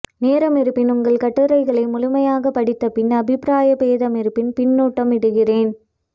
நேரம் இருப்பின் உங்கள் கட்டுரைகளை முழுமையாக படித்த பின் அபிப்பிராய பேதமிருப்பின் பின்னூட்டம் இடுகிறேன்